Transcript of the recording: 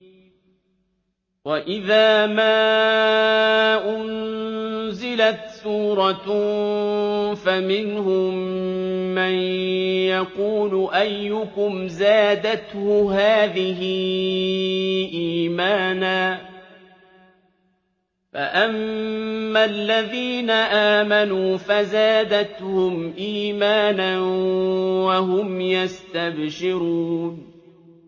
وَإِذَا مَا أُنزِلَتْ سُورَةٌ فَمِنْهُم مَّن يَقُولُ أَيُّكُمْ زَادَتْهُ هَٰذِهِ إِيمَانًا ۚ فَأَمَّا الَّذِينَ آمَنُوا فَزَادَتْهُمْ إِيمَانًا وَهُمْ يَسْتَبْشِرُونَ